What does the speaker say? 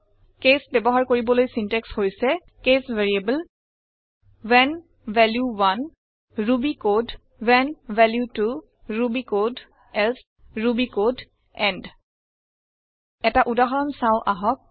case ব্যৱহাৰ কৰিবলৈ syntax হৈছে case variable when value 1 Ruby code when value 2 Ruby code else Ruby code end এটা উদাহৰণ চাওঁ আহক